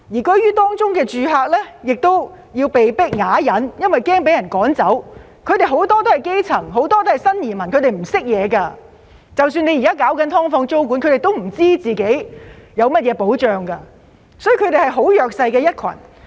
居於當中的住客要被迫啞忍，因為怕被趕走，他們都是基層市民、新移民，不是很有知識，即使現時政府研究"劏房"租管，他們亦不知道自己有甚麼保障，所以他們是很弱勢的一群。